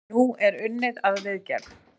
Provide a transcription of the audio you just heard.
Nú er unnið að viðgerð.